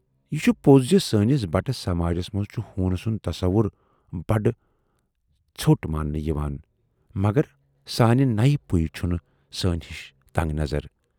""یہِ چھُ پوز زِ سٲنِس بٹہٕ سماجس منز چھُ ہوٗن سُند تَصوُر بڈٕ ژیوٹ ماننہٕ یِوان مگر سانہِ نیہِ پُیہِ چُھنہٕ سٲنۍ ہِش تنگ نظر۔